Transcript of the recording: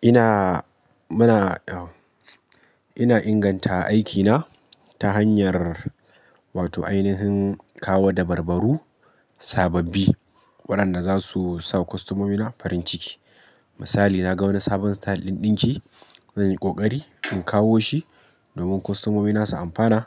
Ina, muna, ina inganta aikina ta hanyar wato ainihin kawo dabarbaru sababbi waɗanda za su sa kwastomomina farin ciki. Misali, na ga wani sabon style ɗin ɗinki, zan yi ƙoƙari in kawo shi domin kwastomomina su amfana,